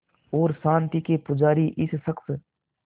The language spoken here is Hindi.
और शांति के पुजारी इस शख़्स